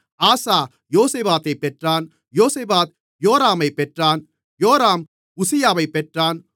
ஆசா யோசபாத்தைப் பெற்றான் யோசபாத் யோராமைப் பெற்றான் யோராம் உசியாவைப் பெற்றான்